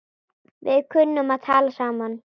Við kunnum að tala saman.